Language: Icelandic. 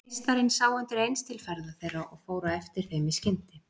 Meistarinn sá undir eins til ferða þeirra og fór á eftir þeim í skyndi.